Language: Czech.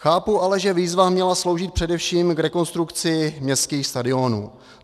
Chápu ale, že výzva měla sloužit především k rekonstrukci městských stadionů.